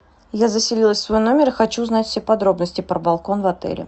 я заселилась в свой номер и хочу узнать все подробности про балкон в отеле